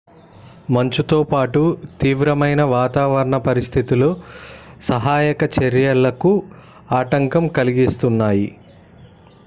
మంచుతో పాటు తీవ్రమైన వాతావరణ పరిస్థితులు సహాయక చర్యలకు ఆటంకం కలిగిస్తున్నాయి